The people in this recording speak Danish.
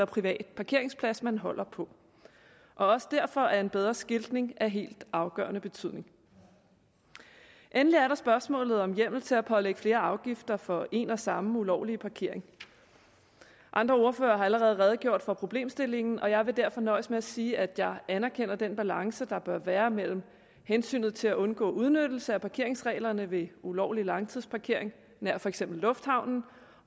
privat parkeringsplads man holder på og også derfor er en bedre skiltning af helt afgørende betydning endelig er der spørgsmålet om hjemmel til at pålægge flere afgifter for én og samme ulovlige parkering andre ordførere har allerede redegjort for problemstillingen og jeg vil derfor nøjes med at sige at jeg anerkender den balance der bør være mellem hensynet til at undgå udnyttelse af parkeringsreglerne ved ulovlig langtidsparkering nær for eksempel lufthavnen